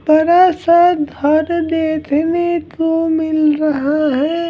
बड़ा सा घर देखने को मिल रहा है।